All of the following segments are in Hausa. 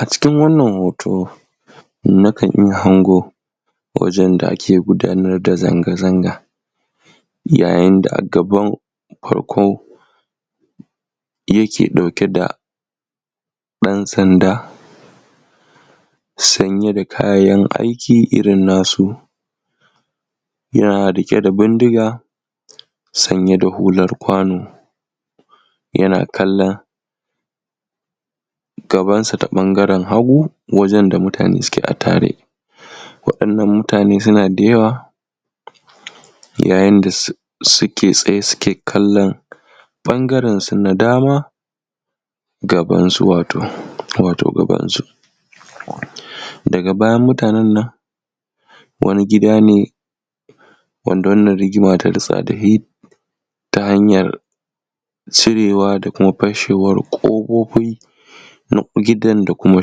a cikin wannan hoto nakan iya hango wajen da ake gudanar da zanga-zanga yayin da a gaban farkon yake ɗauke da ɗan sanda sanye da kayan aiki irin nasu yana riƙe da bindiga sanye da hular kwano yana kallon gaban sa ta ɓangaren hagu wajen da mutane suke a tare waɗannan mutane suna da yawa yayin da su ke tsaye suke kallon ɓangaren su na dama wato gaban su daga bayan mutanen nan wani gida ne wanda wannan rigima ta ritsa dashi ta hanyar cirewa da kuma fashewar ƙofofi na gidan da kuma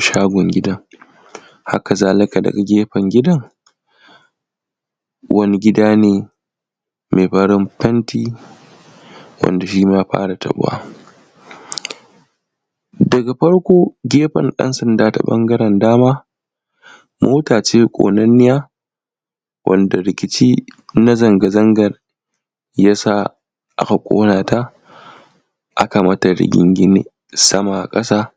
shagon gidan haka zalika daga gefen gidan wani gida ne mai farin fenti wanda shima ya fara taɓuwa daga farko gefen ɗan sanda ɓangaren dama mota ce ƙonanniya wanda rikici na zanga-zangar yasa aka ƙona ta aka mata rigingine sama a ƙasa